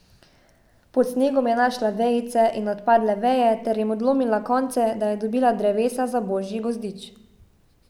Pod snegom je našla vejice in odpadle veje ter jim odlomila konce, da je dobila drevesa za božji gozdič.